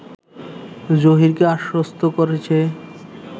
জহীরকে আশ্বস্ত করেছে